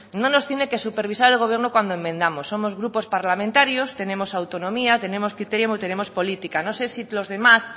nos tiene que supervisar el gobierno cuando enmendamos somos grupos parlamentarios tenemos autonomía tenemos criterio tenemos política no sé si los demás